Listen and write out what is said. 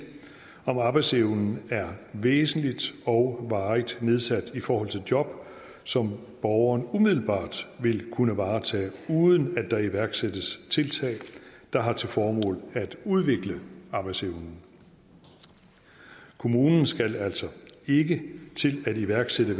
om arbejdsevnen er væsentligt og varigt nedsat i forhold til job som borgeren umiddelbart ville kunne varetage uden at der iværksættes tiltag der har til formål at udvikle arbejdsevnen kommunen skal altså ikke til at iværksætte